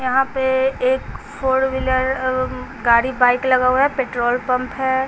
यहां पे एक फोर व्हीलर अम्म् गाड़ी बाइक लगा हुआ है पेट्रोल पंप है।